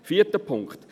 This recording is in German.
Vierter Punkt: